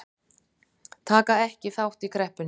Taka ekki þátt í kreppunni